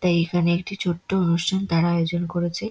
তাই এই খানে একটি ছোট্ট অনুষ্ঠান তারা আয়োজন করেছে।